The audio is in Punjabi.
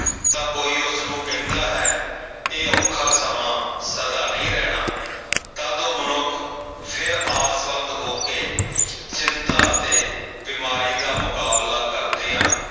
ਤਾਂ ਕੋਈ ਉਸਨੂੰ ਕਹਿੰਦਾ ਹੈ ਇਹ ਔਖਾ ਸਮਾਂ ਸਦਾ ਨਹੀਂ ਰਹਿਣਾ ਤਦ ਉਹ ਮਨੁੱਖ ਫਿਰ ਆਸਵੰਦ ਹੋ ਕੇ ਚਿੰਤਾ ਅਤੇ ਬਿਮਾਰੀ ਦਾ ਮੁਕਾਬਲਾ ਕਰਦਿਆਂ